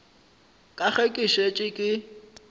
ka ge ke šetše ke